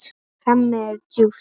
Hemmi er djúpt hugsi.